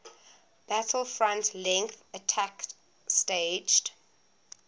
battlefront length attack staged